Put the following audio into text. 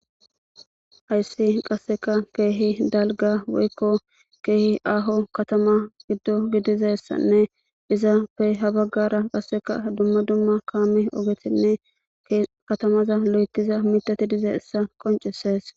Hayssi qasseka keehi dalgga woykko keehi aaho katama giddo gidizessanne izaappey habaggara qasseka dumma dumma kaame ogetinne katamaza lo7etiza miththati dizessa qoncisees.